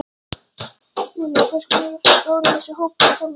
Lillý: Hversu stór er þessi hópur, Tólfan?